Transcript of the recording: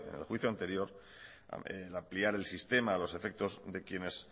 en el juicio anterior ampliar el sistema los efectos de quienes